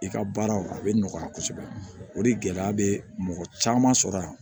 I ka baaraw a bɛ nɔgɔya kosɛbɛ o de gɛlɛya bɛ mɔgɔ caman sɔrɔ yan